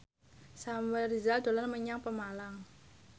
Samuel Rizal dolan menyang Pemalang